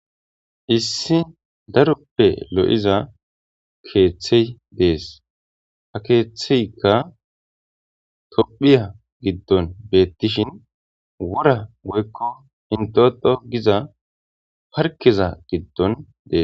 issi daroppe lo7iza keeththey dees ha keeththeykka tophiya giddon beettishin wora goykko intoto giza parkeza giddon dees